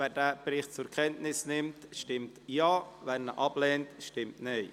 Wer den Bericht zur Kenntnis nimmt, stimmt Ja, wer dies ablehnt, stimmt Nein.